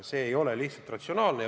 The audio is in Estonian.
See ei ole lihtsalt ratsionaalne.